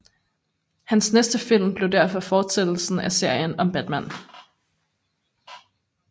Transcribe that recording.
Hans næste film blev derfor fortsættelsen af serien om Batman